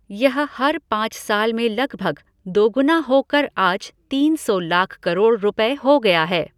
यह हर पाँच साल में लगभग दोगुना होकर आज तीन सौ लाख करोड़ रुपये हो गया है।